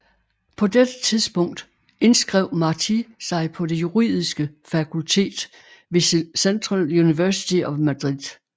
På dette tidspunkt indskrev Martí sig på det juridiske fakultet ved Central University of Madrid